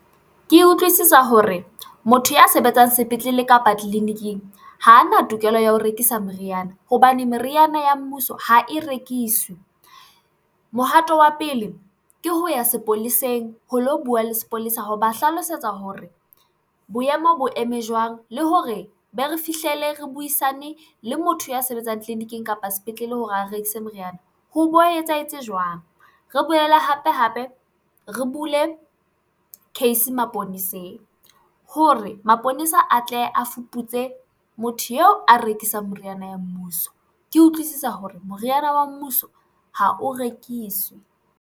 Ke utlwisisa hore motho ya sebetsang sepetlele kapa tleliniking ha ana tokelo ya ho rekisa meriana hobane meriana ya mmuso ha e rekiswe. Mohato wa pele ke ho ya sepoleseng ho lo buwa le sepolesa ho ba hlalosetsa hore boemo bo eme jwang le hore be re fihlele re buisane le motho ya sebetsang tleliniking kapa sepetlele hore a rekise moriana ho bo etsahetse jwang. Re boele hape hape re bule case maponeseng hore maponesa a tle a fuputse motho eo a rekisang meriana ya mmuso. Ke utlwisisa hore moriana wa mmuso ha o rekiswe.